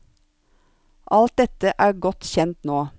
Alt dette er godt kjent nå.